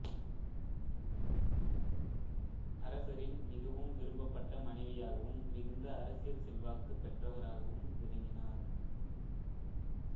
அரசரின் மிகவும் விரும்பப்பட்ட மனைவியாகவும் மிகுந்த அரசியல் செல்வாக்குப் பெற்றவராகவும் விளங்கினார்